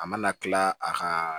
A mana kila a kaaa